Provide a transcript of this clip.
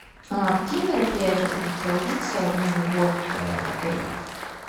какие мероприятия будут проводиться в новый год в отеле